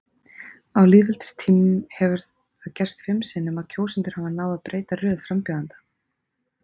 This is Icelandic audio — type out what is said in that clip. Á lýðveldistímanum hefur það gerst fimm sinnum að kjósendur hafi náð að breyta röð frambjóðenda.